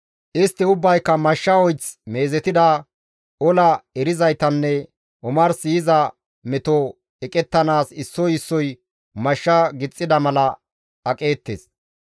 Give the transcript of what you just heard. Istti ubbayka mashsha oyth meezetida, ola erizaytanne omars yiza meto eqettanaas issoy issoy mashsha gixxida mala aqeettes.